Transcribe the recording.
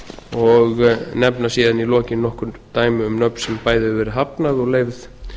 og nefna síðan í lokin nokkur dæmi um nöfn sem bæði hefur verið hafnað og leyfð